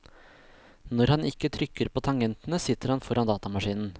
Når han ikke trykker på tangentene, sitter han foran datamaskinen.